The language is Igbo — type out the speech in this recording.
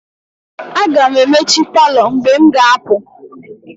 Aga m emechi palọ mgbe m ga-apụ.